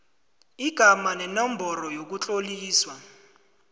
igama nenomboro yokutloliswa